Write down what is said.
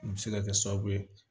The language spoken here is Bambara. U bɛ se ka kɛ sababu ye